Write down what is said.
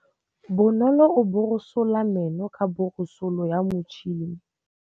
Bonolô o borosola meno ka borosolo ya motšhine.